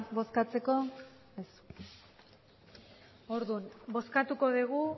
bozkatzeko ez orduan bozkatuko dugu